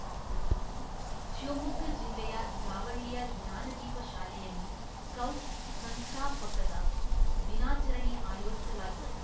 ಶಿವಮೊಗ್ಗ ಜಿಲ್ಲೆಯ ಜಾವಳ್ಳಿಯ ಜ್ಞಾನದೀಪ ಶಾಲೆಯಲ್ಲಿ ಸ್ಕೌಟ್ಸ್‌ ಸಂಸ್ಥಾಪಕದ ದಿನಾಚರಣೆ ಆಯೋಜಿಸಲಾಗಿತ್ತು